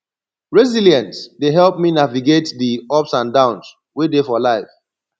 resilience dey help me navigate di ups and downs wey dey for life